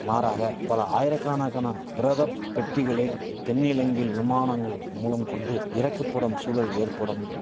மாறாக பல ஆயிரக்காணகான பிரதப் பெட்டிகளே தென்னிலங்கையில் விமானங்கள் மூலம் கொண்டு இறக்கப்படும் சூழல் ஏற்படும்